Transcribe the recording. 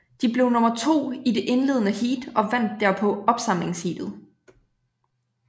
De blev nummer to i det indledende heat og vandt derpå opsamlingsheatet